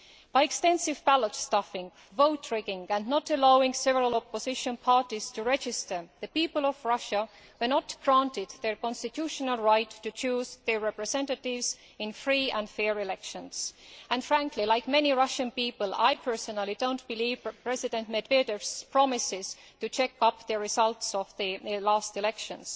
By extensive ballot stuffing, vote rigging and not allowing several opposition parties to register, the people of Russia were not granted their constitutional right to choose their representatives in free and fair elections and frankly, like many Russian people, I personally do not believe President Medvedev's promises to check up the results of the last elections.